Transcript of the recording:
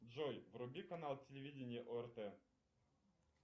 джой вруби канал телевидения орт